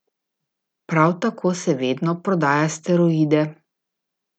Prav tako se vedno prodaja steroide.